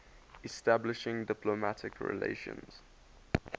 establishing diplomatic relations